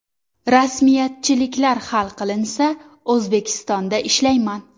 Rasmiyatchiliklar hal qilinsa, O‘zbekistonda ishlayman.